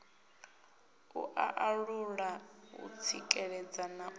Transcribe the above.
u alula u tsikeledza na